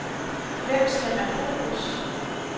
Hvem skal man bo hos?